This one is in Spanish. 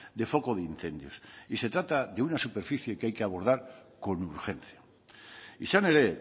de foco de incendios y se trata de una superficie que hay que abordar con urgencia izan ere